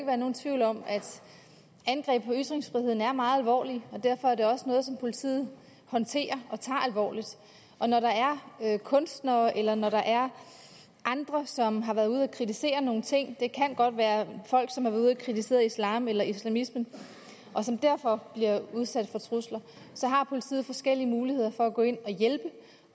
være nogen tvivl om at angreb på ytringsfriheden er meget alvorlige og derfor er det også noget som politiet håndterer og tager alvorligt og når der er kunstnere eller når der er andre som har været ude at kritisere nogle ting det kan godt være folk som har været ude at kritisere islam eller islamismen og som derfor bliver udsat for trusler har politiet forskellige muligheder for at gå ind